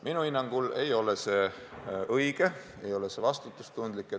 Minu hinnangul ei ole see õige, see ei ole vastutustundlik.